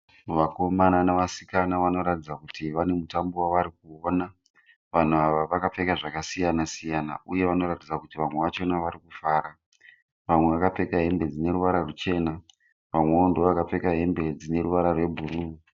Vakomana navasikana vanoratidza kuti vane mutambo wavari kuona vanhu ava vakapfeka zvakasiyana siyana uye vanoratidza kuti vamwe vachona vari kufara vamwe vakapfeka hembe dzine ruvara ruchena vamwewo ndivo vakapfeka hembe dzine ruvara rwebhuruu.